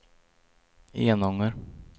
Enånger